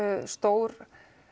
stór